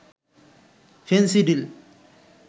Phensedyl